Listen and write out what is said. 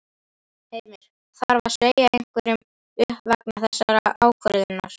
Heimir: Þarf að segja einhverjum upp vegna þessarar ákvörðunar?